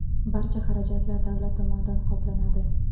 Barcha xarajatlar davlat tomonidan qoplanadi.